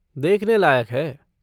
देखने लायक है।